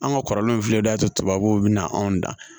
An ka kɔrɔlenw filɛ nin y'a to tubabuw bɛna anw da